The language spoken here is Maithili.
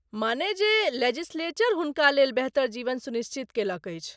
माने जे लेजिस्लेचर हुनका लेल बेहतर जीवन सुनिश्चित कयलक अछि!